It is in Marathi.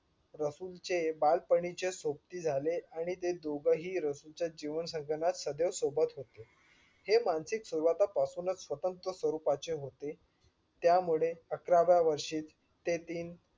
रसूल चे बालपणीचे सोबती झाले आणि ते दोघंही रसूल च्या जीवन संघनांत सतत सोबत होते. हे मानसिक सुरवाता पासूनच स्वतंत्र स्वरूपाचे होते. त्यामुळेच अकरव्या वर्षी ते तीन